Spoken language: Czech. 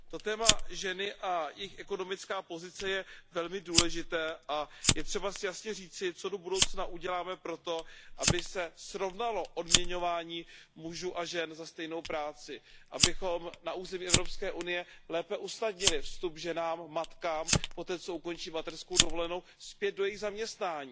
To téma ženy a jejich ekonomická pozice je velmi důležité a je třeba si jasně říci, co do budoucna uděláme pro to, aby se srovnalo odměňování mužů a žen za stejnou práci, abychom na území Evropské unie lépe usnadnili vstup ženám matkám poté, co ukončí mateřkou dovolenou, zpět do jejich zaměstnání.